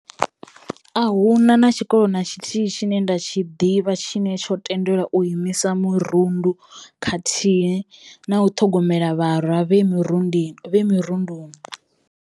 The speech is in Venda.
A huna na tshikolo na tshithihi tshine nda tshi ḓivha tshine tsho tendelwa u imisa mirundu khathihi na u ṱhogomela vharwa vhe murundini vhe mirunduni.